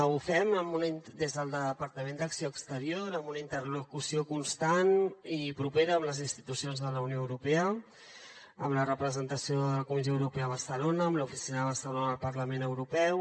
ho fem des del departament d’acció exterior amb una interlocució constant i propera amb les institucions de la unió europea amb la representació de la comissió europea a barcelona amb l’oficina de barcelona del parlament europeu